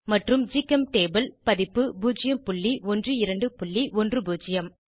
மற்றும் ஜிகெம்டேபுள் பதிப்பு 01210